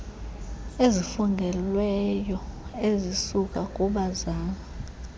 ezifungelweyo ezisuka kubazali